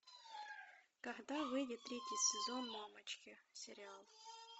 когда выйдет третий сезон мамочки сериал